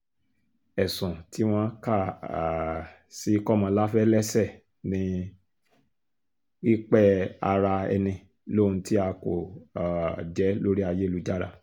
ẹ̀sùn tí wọ́n kà um sí kọmọláfẹ́ lẹ́sẹ̀ ni pípẹ́-ara-ẹni lóhun tí a kò um jẹ́ lórí ayélujára